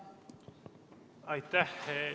Aitäh!